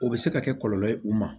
O bɛ se ka kɛ kɔlɔlɔ ye u ma